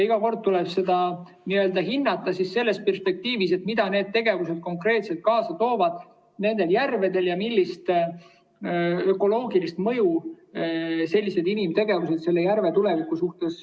Iga kord tuleb seda hinnata sellest perspektiivist, et mida need tegevused konkreetselt selles järves kaasa toovad ja milline ökoloogiline mõju sellisel inimtegevusel järve tulevikule on.